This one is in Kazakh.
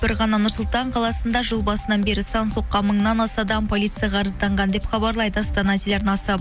бір ғана нұр сұлтан қаласында жыл басынан бері сан соққан мыңнан аса адам полицияға арызданған деп хабарлайды астана телеарнасы